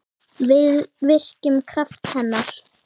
Við virkjum kraft hennar.